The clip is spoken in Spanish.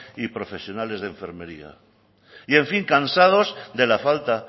y profesionales de enfermería y en fin cansados de la falta